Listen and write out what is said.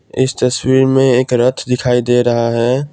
इस तस्वीर में एक रथ दिखाई दे रहा है।